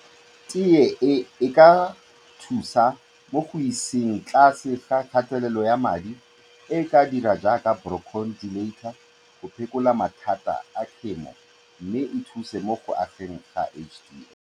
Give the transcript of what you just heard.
Teye e e ka thusa mo go iseng tlase ga kgatelelo ya madi, e ka dira jaaka brochodilator go phekola mathata a khemo mme e thuse mo go ageng ga H_D_L.